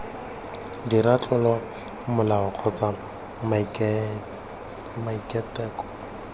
dira tlolo molao kgotsa maiteko